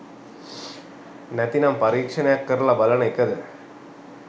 නැත්නම් පරීක්ෂණයක් කරලා බලන එකද?